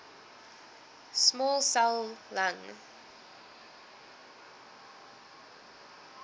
small cell lung